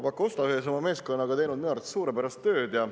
Proua Pakosta ühes oma meeskonnaga on teinud minu arvates suurepärast tööd.